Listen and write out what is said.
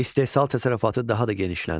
İstehsal təsərrüfatı daha da genişləndi.